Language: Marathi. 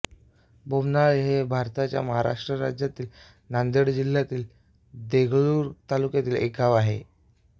बोमनाळी हे भारताच्या महाराष्ट्र राज्यातील नांदेड जिल्ह्यातील देगलूर तालुक्यातील एक गाव आहे